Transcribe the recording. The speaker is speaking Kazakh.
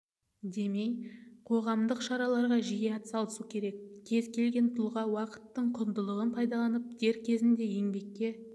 демей қоғамдық шараларға жиі атсалысу керек кез келген тұлға уақыттың құндылығын пайдаланып дер кезінде еңбекке